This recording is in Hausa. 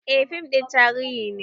Eh fim ɗin tarihi ne